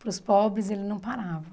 Para os pobres, ele não parava.